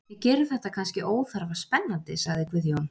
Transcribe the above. Við gerum þetta kannski óþarfa spennandi, sagði Guðjón.